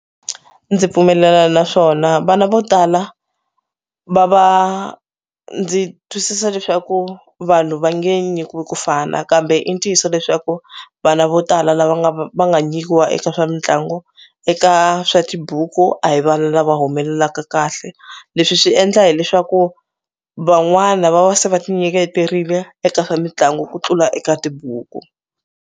Ndzi pfumelelana naswona vana vo tala va va ndzi twisisa leswaku vanhu va nge nyikiwi ku fana kambe i ntiyiso leswaku vana vo tala lava nga va va nga nyikiwa eka swa mitlangu eka swa tibuku a hi vana lava humelelaka kahle leswi swi endla hileswaku van'wana va va se va ti nyiketerile eka swa mitlangu ku tlula eka tibuku.